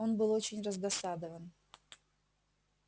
он был очень раздосадован